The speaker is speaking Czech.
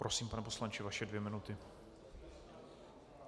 Prosím, pane poslanče, vaše dvě minuty.